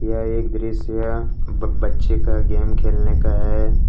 यह एक दृश्य या बच्ची के गेम खेलने का है।